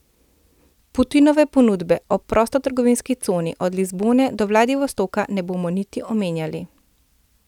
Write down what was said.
Putinove ponudbe o prostotrgovinski coni od Lizbone do Vladivostoka ne bomo niti omenjali.